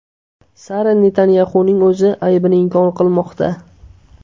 Sara Netanyaxuning o‘zi aybini inkor qilmoqda.